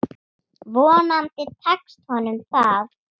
Vonandi tekst honum það.